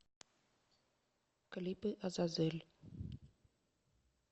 клипы азазель